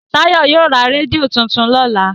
Tayo yio rà rédíò títún lọla.